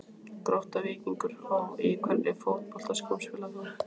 Grótta-Víkingur Ó Í hvernig fótboltaskóm spilar þú?